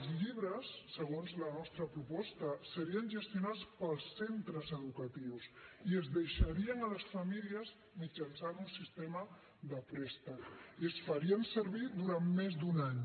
els llibres segons la nostra proposta serien gestionats pels centres educatius i es deixarien a les famílies mitjançant un sistema de préstec i es farien servir durant més d’un any